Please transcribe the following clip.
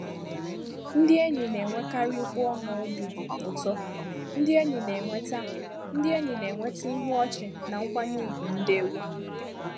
Ndị enyi na-enwekarị mkpu ọñụ obi ụtọ, ndị enyi na-enweta ndị enyi na-enweta ihu ọchị na nkwanye ùgwù ndewo.